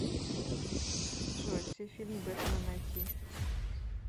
джой все фильмы бэтмана найти